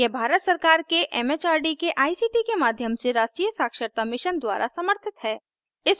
यह भारत सरकार के एमएचआरडी के आईसीटी के माध्यम से राष्ट्रीय साक्षरता मिशन द्वारा समर्थित है